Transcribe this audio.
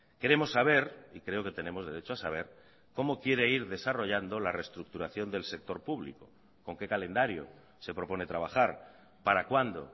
queremos saber y creo que tenemos derecho a saber cómo quiere ir desarrollando la reestructuración del sector público con qué calendario se propone trabajar para cuándo